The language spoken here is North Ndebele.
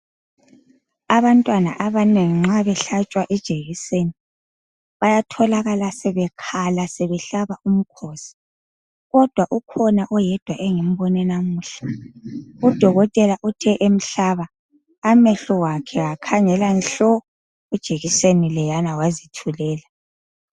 Abantwana abanengi nxa behlatshwa ijekiseni bayatholakala sebekhala sebehlaba umkhosi kodwa ukhona oyedwa engimbone namuhla udokotela uthe emhlaba amehlo wakhe akhangela nhlo ijekiseni leyana wazithulela.